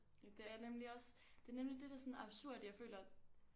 Det er nemlig også det er nemlig det det er sådan absurd jeg føler